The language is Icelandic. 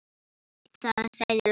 Ég veit það, sagði Lóa.